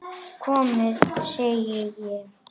Komiði, segi ég!